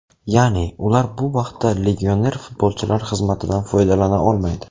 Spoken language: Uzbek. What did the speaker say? Ya’ni, ular bu vaqtda legioner futbolchilar xizmatidan foydalana olmaydi.